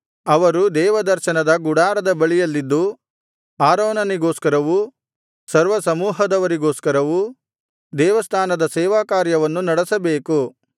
ಅವರು ದೇವದರ್ಶನದ ಗುಡಾರದ ಬಳಿಯಲ್ಲಿದ್ದು ಆರೋನನಿಗೋಸ್ಕರವೂ ಸರ್ವಸಮೂಹದವರಿಗೋಸ್ಕರವೂ ದೇವಸ್ಥಾನದ ಸೇವಾಕಾರ್ಯವನ್ನು ನಡೆಸಬೇಕು